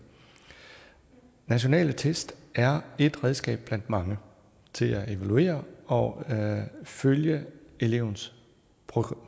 nationale test er ét redskab blandt mange til at evaluere og følge elevens